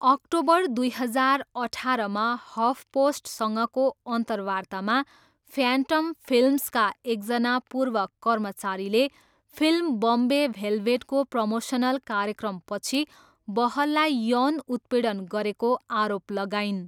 October दुई हजार अठारमा हफपोस्टसँगको अन्तर्वार्तामा फ्यान्टम फिल्म्सका एकजना पूर्व कर्मचारीले फिल्म बम्बे भेलभेटको प्रमोसनल कार्यक्रमपछि बहललाई यौन उत्पीडन गरेको आरोप लगाइन्।